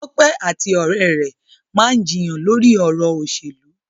Tope ati ore re maa n jiyàn lori ọrọ oselu.